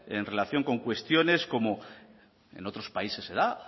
en relación con cuestiones como en otros países se da